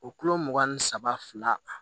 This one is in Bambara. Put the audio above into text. O kulo mugan ni saba fila